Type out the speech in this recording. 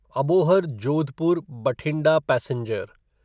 Abohar Jodhpur Bathinda passenger